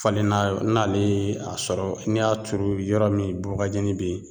Falenna n'ale ye a sɔrɔ n'i y'a turu yɔrɔ min bubagajɛnin be yen